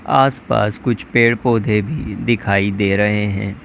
आस पास कुछ पेड़ पौधे भी दिखाई दे रहे हैं।